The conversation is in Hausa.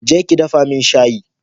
Je ki dafa min shayi